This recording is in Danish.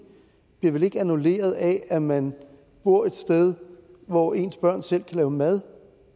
bliver vel ikke annulleret af at man bor et sted hvor ens børn selv kan lave mad